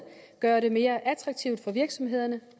gøre det mere attraktivt for virksomhederne